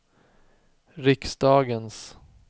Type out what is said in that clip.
riksdagens